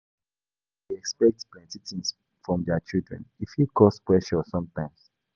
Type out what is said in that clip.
Parents dey expect plenty things from dia children; e fit cause pressure sometimes.